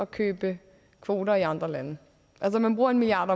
købe kvoter i andre lande man bruger en milliard